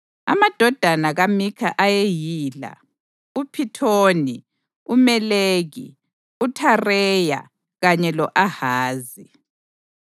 Amadodana kaMikha ayeyila: uPhithoni, uMeleki, uThareya kanye lo-Ahazi.